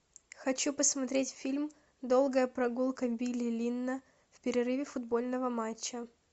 хочу посмотреть фильм долгая прогулка билли линна в перерыве футбольного матча